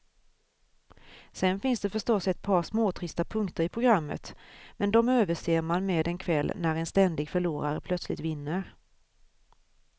Sen finns det förstås ett par småtrista punkter i programmet, men de överser man med en kväll när en ständig förlorare plötsligt vinner.